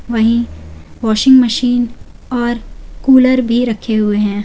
वहीं washing machine और cooler भी रखे हुए है।